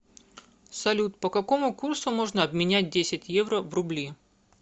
салют по какому курсу можно обменять десять евро в рубли